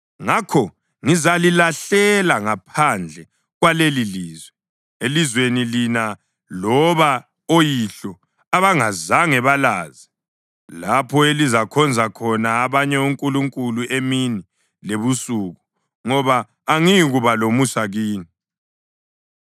Ngakho ngizalilahlela ngaphandle kwalelilizwe elizweni lina loba oyihlo abangazange balazi, lapho elizakhonza khona abanye onkulunkulu emini lebusuku, ngoba angiyikuba lomusa kini.’ ”